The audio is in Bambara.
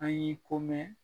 An y'i ko mɛn